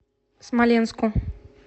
смоленску